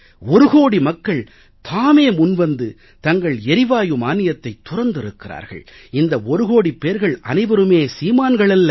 ஒரு கோடி மக்கள் தாமே முன்வந்து தங்கள் எரிவாயு மானியத்தைத் துறந்திருக்கிறார்கள் இந்த ஒரு கோடிப் பேர்கள் அனைவருமே சீமான்கள் அல்ல